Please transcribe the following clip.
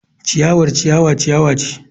Ciyawa ciyawar ciyawa ce.